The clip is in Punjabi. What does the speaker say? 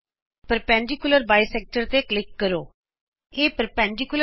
ਪਰਪੈਂਡੀਕੁਲਰ ਬਾਇਸੈਕਟਰ ਲੰਬ ਦੋਭਾਜਕ ਤੇ ਕਲਿਕ ਕਰੋ